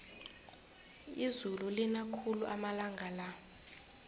izulu lina khulu amalanga la